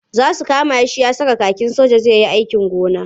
Za su kama shi ya saka kakin soja zai yi sojan gona.